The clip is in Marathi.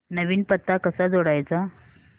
नवीन पत्ता कसा जोडायचा